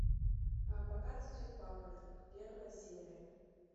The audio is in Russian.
пока цветет папоротник первая серия